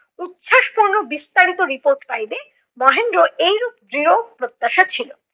উচ্ছ্বাসপূর্ণ বিস্তারিত report পাইবে, মহেন্দ্রর এইরূপ দৃঢ় প্রত্যাশা ছিলো।